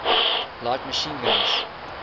light machine guns